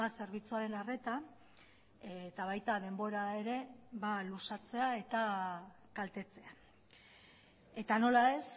zerbitzuaren arreta eta baita denbora ere luzatzea eta kaltetzea eta nola ez